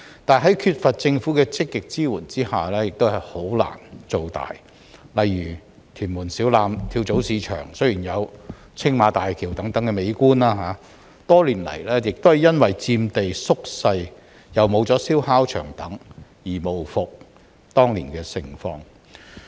在缺乏政府的積極支援下，這些跳蚤市場難以"做大"，例如，屯門小欖跳蚤市場雖然有青馬大橋等美麗景觀，但多年來卻因為佔地縮小及燒烤場結業等，無復當年的盛況。